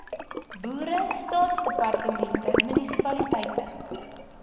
boere staatsdepartemente munisipaliteite